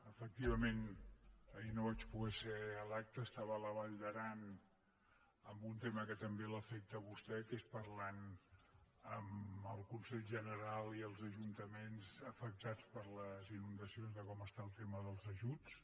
efectivament ahir no vaig poder ser a l’acte era a la vall d’aran amb un tema que també l’afecta a vostè que és parlar amb el consell general i els ajuntaments afectats per les inundacions de com està el tema dels ajuts